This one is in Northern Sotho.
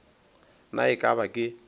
na e ka ba ke